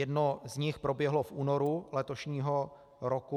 Jedno z nich proběhlo v únoru letošního roku.